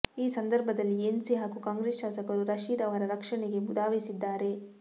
ಈ ಸಂದರ್ಭದಲ್ಲಿ ಎನ್ಸಿ ಹಾಗೂ ಕಾಂಗ್ರೆಸ್ ಶಾಸಕರು ರಶೀದ್ ಅವರ ರಕ್ಷಣೆಗೆ ಧಾವಿಸಿದ್ದಾರೆ